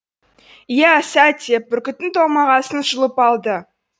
иә сәт деп бүркіттің томағасын жұлып алды